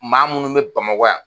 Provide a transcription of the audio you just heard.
Maa munnu be bamakɔ yan